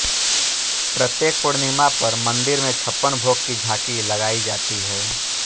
प्रत्येक पूर्णिमा पर मंदिर में छप्पन भोग की झांकी लगाई जाती है